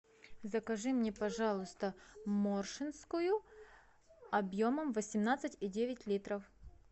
закажи мне пожалуйста моршинскую объемом восемнадцать и девять литров